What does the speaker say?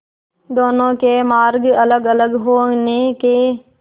दोनों के मार्ग अलगअलग होने के